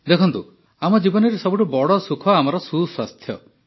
ଦେଖନ୍ତୁ ଆମ ଜୀବନରେ ସବୁଠୁ ବଡ଼ ସୁଖ ଆମର ସୁସ୍ୱାସ୍ଥ୍ୟ